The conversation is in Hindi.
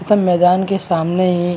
मैदान के सामने --